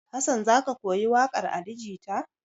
Hassan za ka koyi waƙar Ali Jita?